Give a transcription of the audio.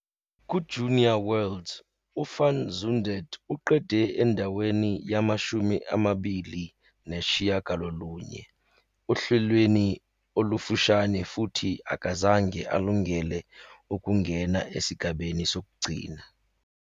KuJunior Worlds, uVan Zundert uqede endaweni yama-29 ohlelweni olufushane futhi akazange alungele ukungena esigabeni sokugcina.